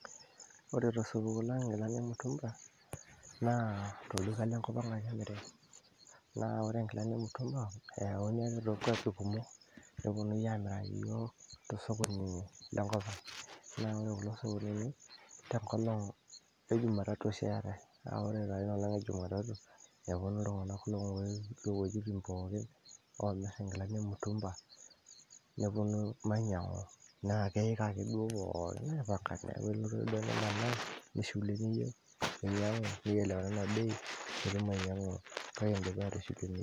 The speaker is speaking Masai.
ore tosupuko lang inkilani emutumba naa tolduka lenkop ang ake emiri naa ore inkilani emutumba eyauni ake tonkuapi kumok neponunui amiraki yiok tosokoni lenkop ang naa ore kulo sokonini tenkolong e jumatatu oshi eetae naa ore taa inolong e jumatatu neponu iltung'anak lowuejitin pookin omirr inkilani emutumba neponu mainyiang'u naa keyik ake duo pookin aipanga neeku ilotu ake duo nimanaa nishilu eniyieu nielewanana bei piitum ainyiang'u kake indipa atishilu eniyieu.